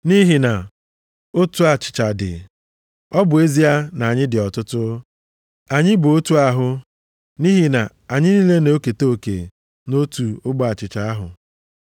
Nʼihi na otu achịcha dị, ọ bụ ezie na anyị dị ọtụtụ, anyị bụ otu ahụ, nʼihi na anyị niile na-eketa oke nʼotu ogbe achịcha ahụ.